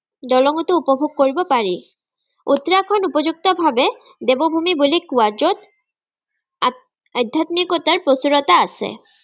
দলঙটো উপভোগ কৰিব পাৰি। উত্তৰাখণ্ড উপযুক্তভাৱে দেৱভুমি বুলি কোৱা য'ত, আত আধ্যাত্মিকতাৰ প্ৰচুৰতা আছে।